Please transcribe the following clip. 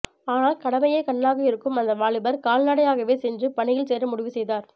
ஆனால் கடமையே கண்ணாக இருக்கும் அந்த வாலிபர் கால்நடையாகவே சென்று பணியில் சேர முடிவு செய்தார்